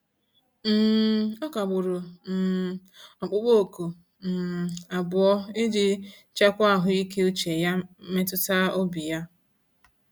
um Ọ kagburu um ọkpụkpọ oku um abụọ iji chekwa ahụike uche ya mmetụtaobi ya.